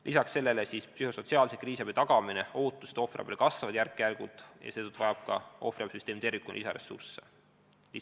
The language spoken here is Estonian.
Lisaks sellele psühhosotsiaalse kriisiabi tagamise, sh ohvriabi ootused järk-järgult kasvavad ja seetõttu vajab ka ohvriabisüsteem tervikuna lisaressursse.